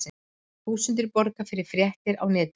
Þúsundir borga fyrir fréttir á netinu